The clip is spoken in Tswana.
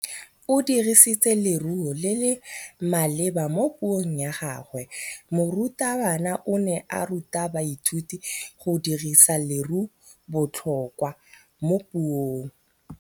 O dirisitse lerêo le le maleba mo puông ya gagwe. Morutabana o ne a ruta baithuti go dirisa lêrêôbotlhôkwa mo puong.